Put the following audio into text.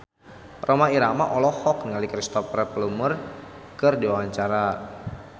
Rhoma Irama olohok ningali Cristhoper Plumer keur diwawancara